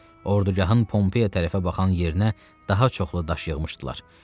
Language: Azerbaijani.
Ordugahın Pompeyaya tərəfə baxan yerinə daha çoxlu daş yığmışdılar.